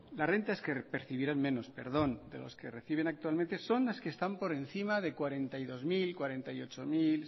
las rentas que percibirán menos perdón de los que reciben actualmente son las que están por encima de cuarenta y dos mil cuarenta y ocho mil